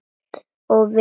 Og vill það.